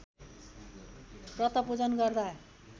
व्रतपूजन गर्दा